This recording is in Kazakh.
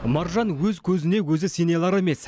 маржан өз көзіне өзі сене алар емес